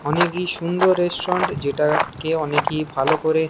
অনেকই সুন্দর রেস্টুরেন্ট যেটা অনেকেই ভালো করে।